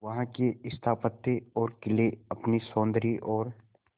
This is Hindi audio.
वहां के स्थापत्य और किले अपने सौंदर्य और